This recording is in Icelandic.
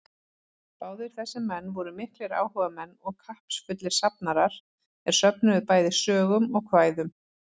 Báðir þessir menn voru miklir áhugamenn og kappsfullir safnarar, er söfnuðu bæði sögum og kvæðum.